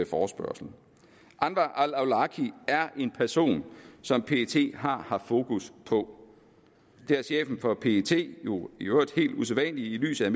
forespørgsel anwar al awlaki er en person som pet har haft fokus på det har chefen for pet jo i øvrigt helt usædvanligt i lyset